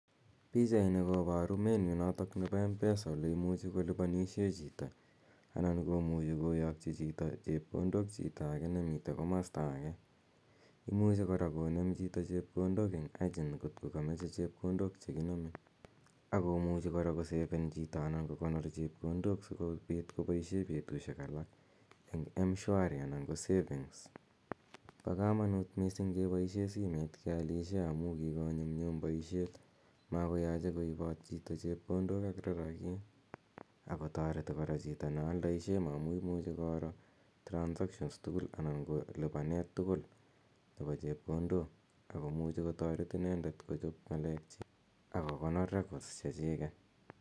Pichani koparu menu notok nepo Mpesa ole imuchi kolipanishe chito anan ko muchi koyakchi chito chepkondok chito age nemitei komasta age. Imuchi kora konem chito chepkondok eng agent ngot ko ka mache chepkondok che kiname. Ako muchi kora koseven chito anan ko kokonor chepkondok si kopit kopaishe petushek alak eng' mshwari anan ko saving . Po kamanut missibg' kepaishe simet kealishe amu kikonyumnyum poishet. Makoyache koipat chito chepkondok ak rarakik ako tareti kora chito ne aldaishe amu imuchi koro transactions tugul anan ko lipanet tugul nepo chepkondok ako muchi kotaret inendet kochop ng'alekchik ak kokonor records chechiket.